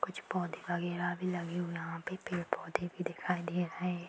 कुछ पौधे वगेरह भी लगे हुए हैं यहाँ पे पेड़-पौधे भी दिखाई दे रहे हैं।